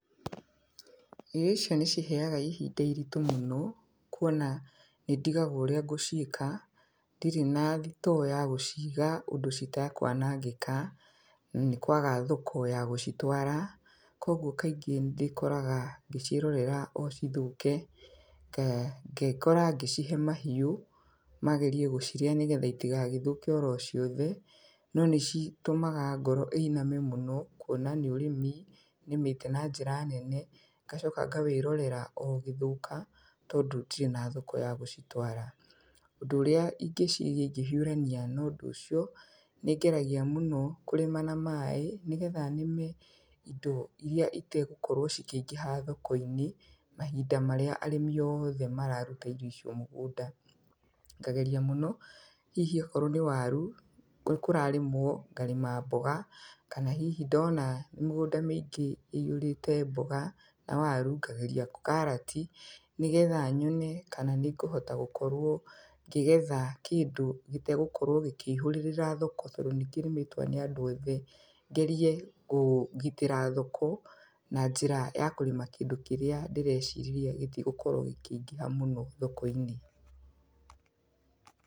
Irio icio nĩ ciheaga ihinda iritũ mũno, kuona nĩ ndigagwo ũrĩa ngũciĩka. Ndirĩ na thitoo ya gũciga ũndũ citakwanangĩka, nĩ kwaga thoko ya gũcitwara. Koguo kaingĩ nĩ ndĩkoraga ngĩciorera o cithũke, ngekora ngĩcihe mahiũ, magerie gũcirĩa nĩgetha itigagĩthũke oro ciothe. No nĩ citũmaga ngoro ĩiname mũno, kuona nĩ ũrĩmi, nĩmĩte na njĩra nene, ngacoka ngawĩrorera o ũgĩthũka, tondũ ndirĩ na thoko ya gũcitwara. Ũndũ ũrĩa ingĩciria ingĩhiũrania na ũndũ ũcio, nĩ ngeragia mũno kũrĩma na maaĩ, nĩgetha nĩme indo irĩa itegũkorwo cikĩingĩha thoko-inĩ, mahinda marĩa arĩmi othe mararuta irio icio mũgũnda. Ngageria mũno, hihi okorwo nĩ waru, kũrarĩmwo, ngarĩma mboga, kana hihi ndona mĩgũnda mĩingĩ ĩihũrĩte mboga, na waru, ngageria karati, nĩgetha nyone kana nĩ ngũhota gũkorwo ngĩgetha kĩndũ gĩtegũkorwo gĩkĩihũrĩrĩra thoko, tondũ nĩ kĩrĩmĩtwo nĩ andũ othe. Ngerie gũgitĩra thoko, na njĩra ya kũrĩma kĩndũ kĩrĩa ndĩrecirĩria gĩtigũkorwo gĩkĩingĩha mũno thoko-inĩ